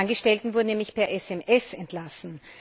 Die Angestellten wurden nämlich per SMS entlassen.